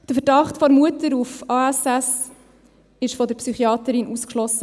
Der Verdacht der Mutter auf ASS wurde von der Psychiaterin ausgeschlossen.